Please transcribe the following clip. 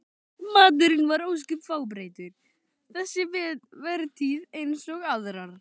Maturinn var ósköp fábreyttur þessa vertíð eins og aðrar.